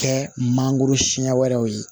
Kɛ mangoro siɲɛ wɛrɛw ye